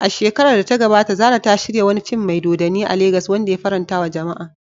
A shekarar da ta gabata, Zarah ta shirya wani fim mai dodanni a Legas wanda ya farantawa jama'a.